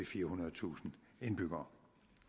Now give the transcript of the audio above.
firehundredetusind indbyggere